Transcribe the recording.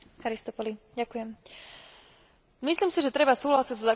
Myslím si, že treba súhlasiť so základnými rozhodnutiami návrhu Komisie.